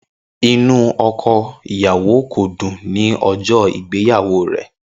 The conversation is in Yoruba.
Inu ọkọ iyawo ko dun ni ọjọ igbeyawo rẹ.